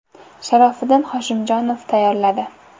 Sharofiddin Hoshimjonov tayyorladi.